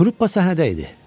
Truppa səhnədə idi.